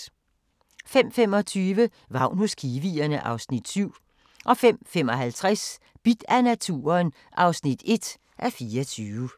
05:25: Vagn hos kiwierne (Afs. 7) 05:55: Bidt af naturen (1:24)